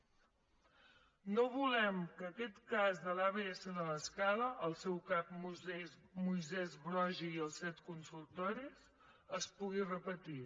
no volem que aquest cas de l’abs de l’escala el seu cap moisès broggi i els set consultoris es pugui repetir